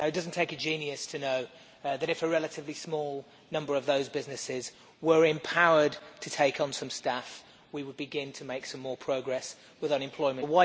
Now, it does not take a genius to know that if a relatively small number of those businesses were empowered to take on some staff we would begin to make some more progress with unemployment.